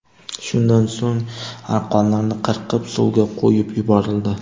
Shundan so‘ng arqonlarni qirqib, suvga qo‘yib yuborildi.